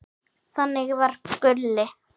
Þannig var Gulli.